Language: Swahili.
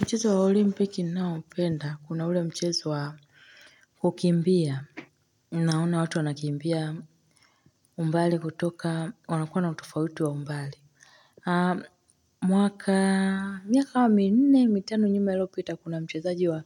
Mchezo wa olimpiki ninao upenda, kuna ule mchezo wa kukimbia. Unaona watu wanakimbia, umbali kutoka, wanakua na utofauti wa umbali. Mwaka, miaka kama minne mitano nyuma iliyopita kuna mchezaji wa